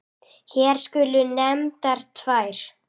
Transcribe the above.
Hér skulu nefndar tvær.